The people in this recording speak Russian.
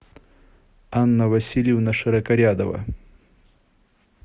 анна васильевна широкорядова